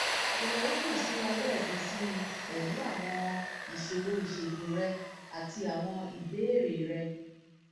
jọwọ kàn sí wa lẹẹkan síi pẹlú àwọn pẹlú àwọn ìṣòro ìṣègùn rẹ àti àwọn ìbéèrè rẹ